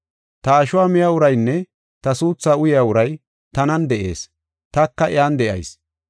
Ta ashuwa miya uraynne ta suuthaa uyaa uray tanan de7ees; taka iyan de7ayis.